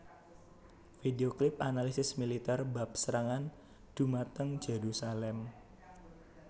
Video Clip Analisis Militer bab serangan dhumateng Jerusalem